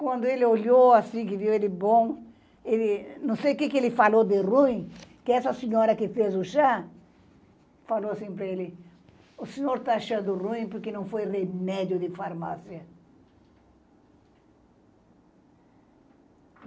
Quando ele olhou assim, que viu ele bom, ele, não sei o quê que ele falou de ruim, que essa senhora que fez o chá, falou assim para ele, o senhor está achando ruim porque não foi remédio de farmácia.